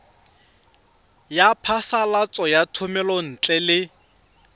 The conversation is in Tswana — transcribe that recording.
ya phasalatso ya thomelontle le